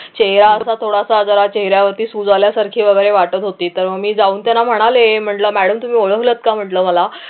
चेहरा असा थोडासा म्हणजे जरा चेहऱ्यावरती सूज आल्यासारखे वगैरे वाटत होती तर मी जाऊन त्यांना म्हणाले म्हटलं मॅडम तुम्ही ओळखलंत का म्हटलं मला